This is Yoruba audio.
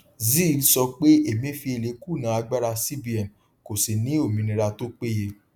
zeal sọ pé emefiele kùnà agbára cbn kò sì ní òmìnira tó péye